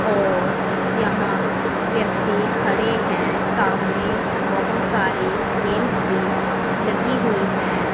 और यहां व्यक्ति खड़े हैं सामने बहोत सारे गेम्स भी लगी हुईं हैं।